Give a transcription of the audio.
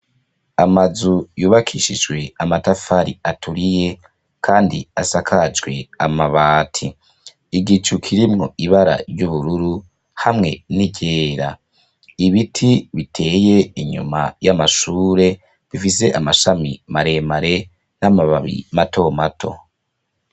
Amazu yubakishijwe amatafari aturiye kandi asakajwe amabati. Igicu kirimwo ibara ry' ubururu hamwe n' iryera. Ibiti biteye inyuma y' amashure, bifise amashami maremare n' amababi mato mato.